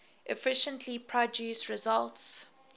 efficiently produce results